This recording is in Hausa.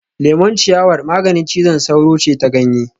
Lemon ciyawar maganin cizon sauro ce ta ganye